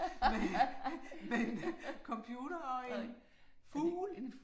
Med en med en computer og en fugl